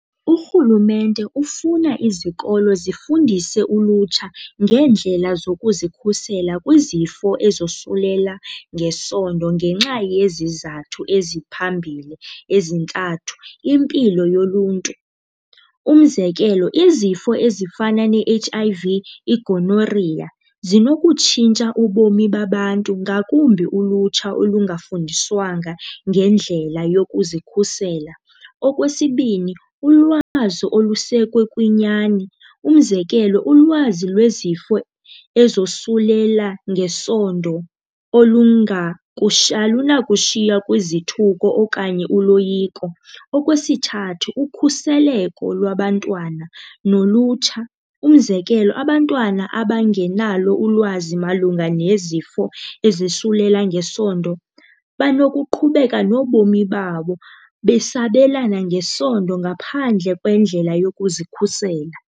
Urhulumente ufuna izikolo zifundise ulutsha ngeendlela zokuzikhusela kwizifo ezosulela ngesondo ngenxa yezizathu eziphambili ezintathu. Impilo yoluntu. Umzekelo, izifo ezifana ne-H_I_V, igonoriya zinokutshintsha ubomi babantu ngakumbi ulutsha olungafundiswanga ngendlela yokuzikhusela. Okwesibini, ulwazi olusekwe kwinyani. Umzekelo, ulwazi lwezifo ezosulela ngesondo alunakushiywa kwizithuko okanye uloyiko. Okwesithathu, ukhuseleko lwabantwana nolutsha. Umzekelo, abantwana abangenalo ulwazi malunga nezifo ezosulela ngesondo banokuqhubeka nobomi babo besabelana ngesondo ngaphandle kwendlela yokuzikhusela.